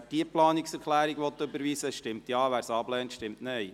Wer diese Planungserklärung überweisen will, stimmt Ja, wer sie ablehnt, stimmt Nein.